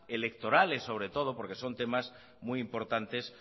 electorales sobre todo porque son temas muy importantes